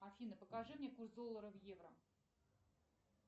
афина покажи мне курс доллара в евро